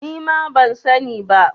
Nima ban sa ni ba